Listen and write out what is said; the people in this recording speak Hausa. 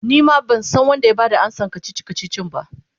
Nima bansan Wanda ya Bada amsan kachichi kachichin ba